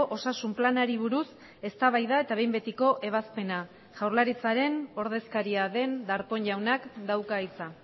osasun planari buruz eztabaida eta behin betiko ebazpena jaurlaritzaren ordezkaria den darpón jaunak dauka hitza